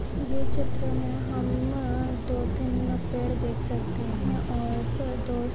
चित्र मे हम म दो-तीन पेड़ देख सकते है और दोस्त --